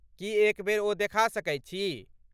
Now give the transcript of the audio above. की एक बेर ओ देखा सकैत छी?